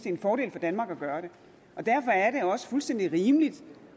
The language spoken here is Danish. en fordel for danmark at gøre det derfor er det også fuldstændig rimeligt